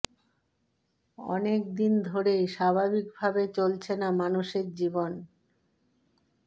অনেক দিন ধরেই স্বাভাবিক ভাবে চলছে না মানুষের জীবন